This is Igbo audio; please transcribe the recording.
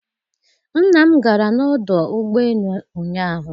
Nna m gara n'ọdụ ụgbọ elu ụnyahụ.